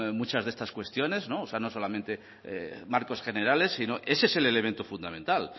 muchas de estas cuestiones o sea no solamente marcos generales si no ese es el elemento fundamental